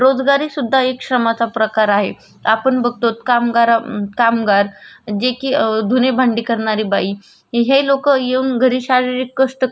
कि हे लोक येऊन जरी शारीरिक गोष्ट करतात पण त्याचा बदल्यात आपण त्यांना पे केलं जात अ त्याला रोजगारी श्रम